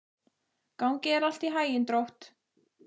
Gangi þér allt í haginn, Drótt.